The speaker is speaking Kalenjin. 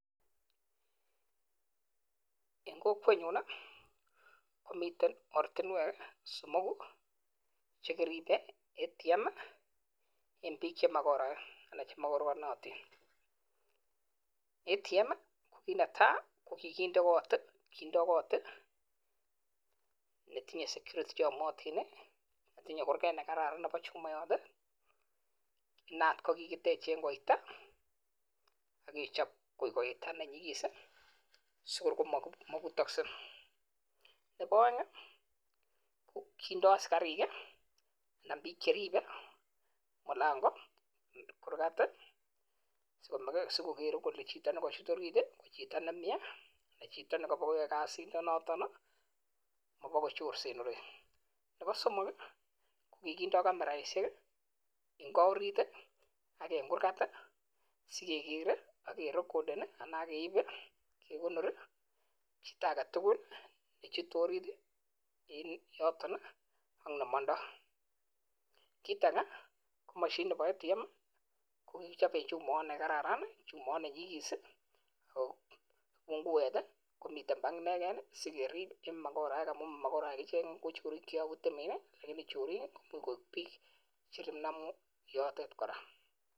Eng kokwet nyuun komitei oratunweek Eng piik chemogoraeek kindai kot ATM.sikoriip. mokoraeek ,Nepo aek kindoi piik cheripeee sikonai kolee Ngo nikanyoo yutok yuuu akerib mogoraek yotet kora